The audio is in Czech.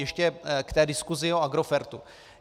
Ještě k té diskusi o Agrofertu.